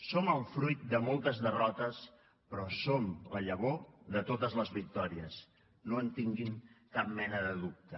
som el fruit de moltes derrotes però som la llavor de totes les victòries no en tinguin cap mena de dubte